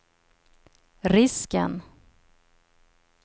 risken